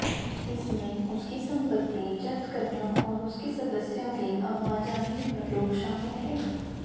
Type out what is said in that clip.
इसमें उसकी सम्पत्ति जब्त करना और उसके सदस्यों की आवाजाही पर रोक शामिल है